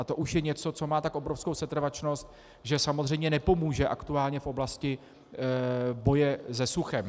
A to už je něco, co má tak obrovskou setrvačnost, že samozřejmě nepomůže aktuálně v oblasti boje se suchem.